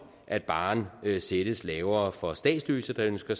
at barren sættes lavere for statsløse der ønsker